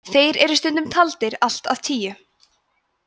þeir eru stundum taldir allt að tíu